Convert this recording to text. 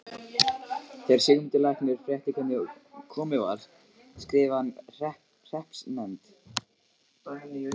Þegar Sigmundur læknir frétti hvernig komið var skrifaði hann hreppsnefnd